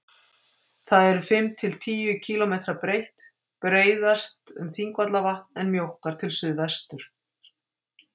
Það er fimm til tíu kílómetra breitt, breiðast um Þingvallavatn, en mjókkar til suðvesturs.